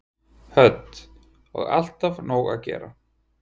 Hödd: Og alltaf nóg að gera?